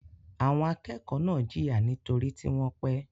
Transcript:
Àwọn akẹ́kọ̀ọ́ náà jìyà nítorí tí wọ́n pẹ́.